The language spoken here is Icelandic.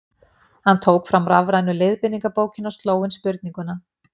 Hann tók fram rafrænu leiðbeiningabókina og sló inn spurninguna;